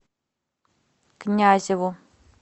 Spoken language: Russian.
князеву